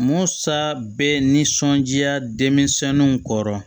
Musa bɛ nisɔnja denmisɛnninw kɔrɔ